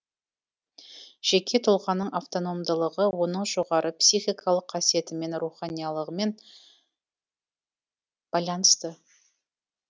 жеке тұлғаның автономдылығы оның жоғары психикалық қасиетімен руханилығымен байланысты